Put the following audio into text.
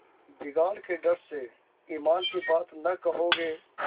बिगाड़ के डर से ईमान की बात न कहोगे